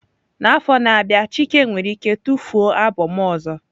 N'afọ na-abịa Chike nwere ike tufuo albọm ọzọ.